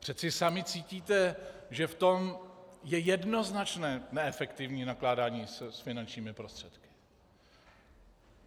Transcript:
Přece sami cítíte, že v tom je jednoznačné neefektivní nakládání s finančními prostředky.